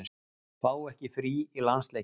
Fá ekki frí í landsleiki